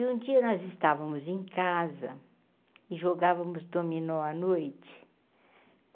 E um dia nós estávamos em casa e jogávamos domínio à noite.